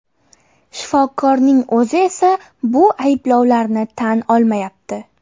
Shifokorning o‘zi esa bu ayblovlarni tan olmayapti.